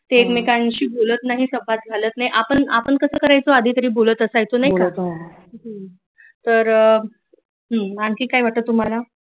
एकमेकांशी बोलत नाहीत संवाद चालत नाहीत आपन आपण कसं करायचो आधी तरी बोलत असायचो नाही क हंं तर आणखी काय वाटतं तुम्हाला